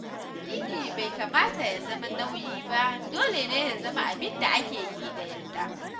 Addini bai kamata ya zama nauyi ba, dole ne ya zama abin da ake yi da yarda.